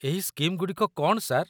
ଏହି ସ୍କିମ୍‌ଗୁଡ଼ିକ କ'ଣ, ସାର୍?